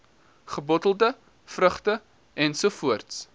gebottelde vrugte ens